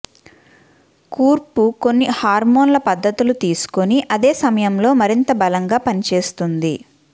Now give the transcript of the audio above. కూర్పు కొన్ని హార్మోన్ల పద్ధతులు తీసుకొని అదే సమయంలో మరింత బలంగా పనిచేస్తుంది